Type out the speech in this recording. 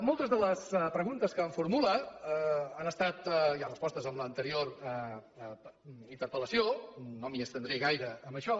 moltes de les preguntes que em formula han estat ja respostes en l’anterior interpel·lació no m’hi estendré gaire en això